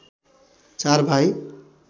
४ भाइ